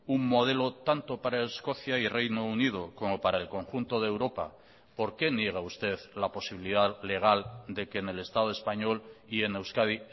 un modelo tanto para escocia y reino unido como para el conjunto de europa por qué niega usted la posibilidad legal de que en el estado español y en euskadi